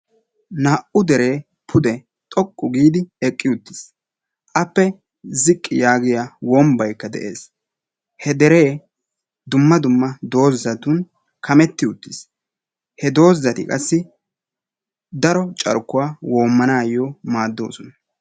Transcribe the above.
Naa"u deree pude xoqqu giidi eqqi uttis. Appe ziqqi yaagiya wombbayi de"es. He deree dumma dumma doozatun kametti uttis. He doozati qassi daro carkkuwa woommanaayyo maaddoosona.